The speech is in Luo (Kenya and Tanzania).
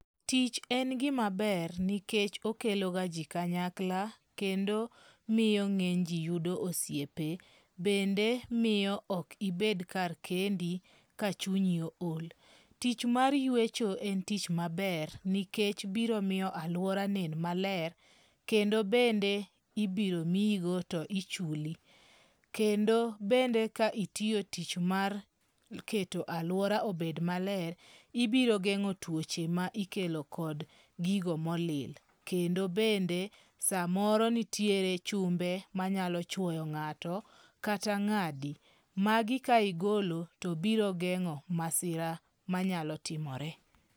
Tich en gima ber nikech okelo ga ji kanyakla. Kendo miyo ng'eny ji yudo osiepe. Bende miyo ok ibed kar kendi ka chunyi ool. Tich mar yuecho en tich maber nikech biro miyo aluora nen maler. Kende bende ibiro miyigo to ichuli. Kendo bende ka itiyo tich mak keto aluora obed maler, ibiro geng'o twoche ma ikelo kod gigo molil. Kendo bende samoro nitiere chumbe manyalo chwoyo ng'ato kata ng'adi, magi ka igolo to biro geng'o masira manyalo timore.